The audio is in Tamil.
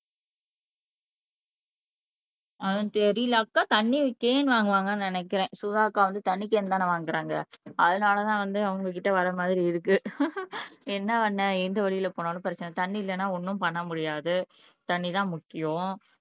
ஆஹ் தெரியல அக்கா தண்ணி கேன் வாங்குவாங்கன்னு நினைக்கிறேன் சுதா அக்கா வந்து தண்ணி கேன் தானே வாங்குறாங்க அதனால தான் வந்து உங்க கிட்ட வர்ற மாதிரி இருக்கு என்ன பண்ண எந்த வழியில் போனாலும் பிரச்சினை தண்ணி இல்லன்னா ஒன்னும் பண்ண முடியாது தண்ணி தான் முக்கியம்